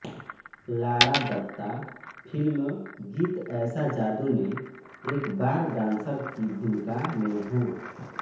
Lara Dutta film गीत ऐसा जादू में एक बारडांसर की भूमिका में है